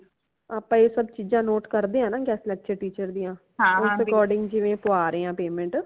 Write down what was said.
ਆਪਾ ਏ ਸਬ ਚੀਜ਼ਾਂ ਨੋਟ ਕਰਦੇ ਹਨਾ guest lecture teacher ਦਿਆਂ ਉਸ according ਜਿਵੇ ਪੁਆ ਰਾਏ ਹਾਂ payment